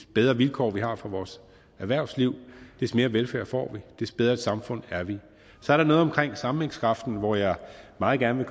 bedre vilkår vi har for vores erhvervsliv des mere velfærd får vi des bedre et samfund er vi så er der noget omkring sammenhængskraften hvor jeg meget gerne